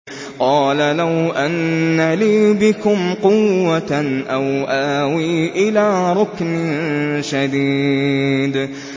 قَالَ لَوْ أَنَّ لِي بِكُمْ قُوَّةً أَوْ آوِي إِلَىٰ رُكْنٍ شَدِيدٍ